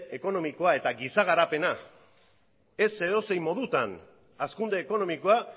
ekonomikoa eta giza garapena baina ez edozein modutan hazkunde ekonomikoa